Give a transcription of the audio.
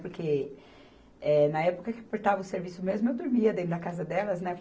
Porque, eh, na época que cortava o serviço mesmo, eu dormia dentro da casa delas, né?